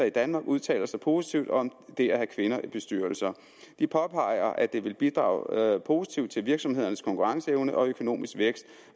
i danmark udtaler sig positivt om det at have kvinder i bestyrelser de påpeger at det vil bidrage positivt til virksomhedernes konkurrenceevne og økonomiske vækst